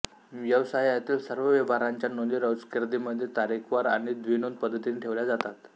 व्यवसायातील सर्व व्यवहारांच्या नोंदी रोजकीर्दीमध्ये तारीखवार आणि द्विनोंदी पद्धतीने ठेवल्या जातात